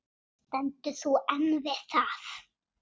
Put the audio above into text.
Stendur þú enn við það?